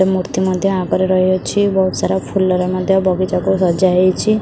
ଏ ମୂର୍ତ୍ତି ମଧ୍ୟ ଆଗରେ ରହିଅଛି ବହୁତ୍ ସାରା ଫୁଲର ମଧ୍ୟ ବଗିଚାକୁ ସଯାହେଇଛ।